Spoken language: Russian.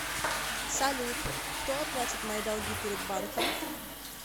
салют кто оплатит мои долги перед банком